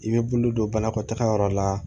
I bɛ bolo don banakɔtaga yɔrɔ la